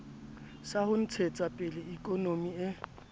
sa ho ntshetsapele ikonomi e